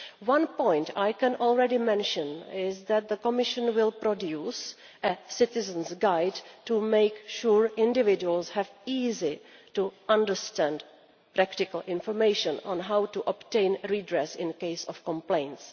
One point I can mention is that the Commission will produce a Citizen's Guide to make sure that individuals have easy to understand, practical information on how to obtain redress in case of complaints.